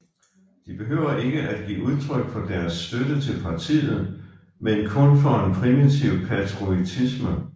De behøver ikke give udtryk for deres støtte til Partiet men kun for en primitiv patriotisme